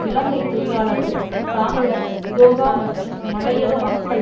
இலங்கை தொழிலாளர் காங்கிரஸ் இதொக மற்றும் மலையக மக்கள்